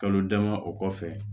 Kalo dama o kɔfɛ